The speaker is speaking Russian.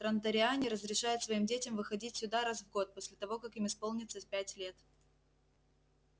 транториане разрешают своим детям выходить сюда раз в год после того как им исполнится пять лет